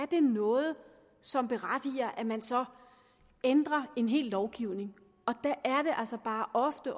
det er noget som berettiger at man så ændrer en hel lovgivning der er det altså bare ofte